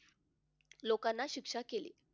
लोकांना शिक्षा केली.